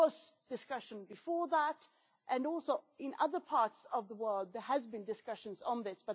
There was discussion before that, and also in other parts of the world there has been discussion of this.